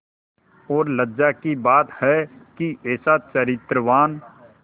और लज्जा की बात है कि ऐसा चरित्रवान